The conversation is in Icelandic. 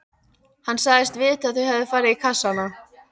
Hann sagðist vita að þau hefðu farið í kassana.